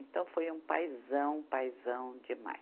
Então, foi um paizão, um paizão demais.